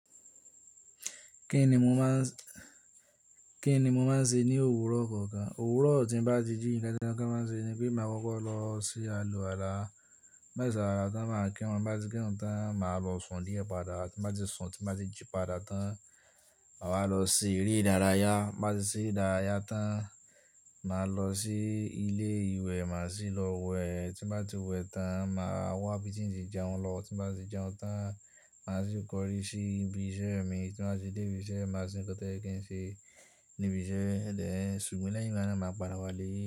Kí ni mo máa ń, kí ni mo máa ń ṣe ní òwúrọ̀ kọ̀ọ̀kan? Òwúrọ̀ tí ń bá ti jí, nǹkan tí mo máa ń ṣe ni pé màá kọ́kọ́ lọ se aluwala Ti mo ba ti se aluwala tán, màá kírun. Bá ti kírun tán, màá lọ sùn die pada Bá ti sùn, tí màá ti jí èpà dà tán, màá lọ se ere ìdárayá. Bá ti ṣe ìdárayá tán, màá lọ sí ilé ìwẹ̀, màá sì lọ wẹ̀. Tí màá ti wẹ̀ tán, màá wá ibi tí ń ṣe jẹun lọ. Tí màá ti jẹun tán, màá sì kọrí sí ibi iṣẹ́ mi. Tí màá ti dé ibi iṣẹ́, màá se nkan ti o ye kí ń ṣe níbi iṣẹ́. Ẹ̀dẹ̀ ṣùn mí láìpẹ́ lánàá, màá padà wá lé.